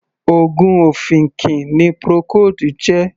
Oògùn ọ̀fìnkì ni Procold jẹ́.